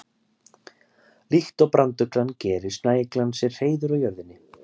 Líkt og branduglan gerir snæuglan sér hreiður á jörðinni.